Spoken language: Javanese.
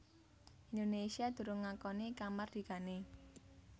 Indonésia durung ngakoni kamardikané